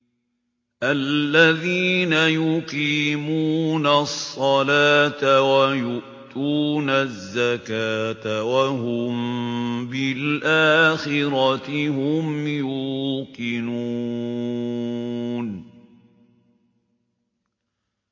الَّذِينَ يُقِيمُونَ الصَّلَاةَ وَيُؤْتُونَ الزَّكَاةَ وَهُم بِالْآخِرَةِ هُمْ يُوقِنُونَ